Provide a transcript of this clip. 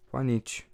Pa nič.